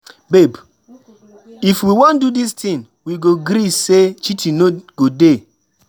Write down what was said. Babe, if we wan do this thing we go gree say cheating no go dey